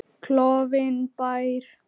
Klofinn bær.